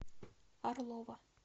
орлова